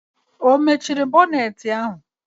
Ọ mechiri bọnetị ahụ?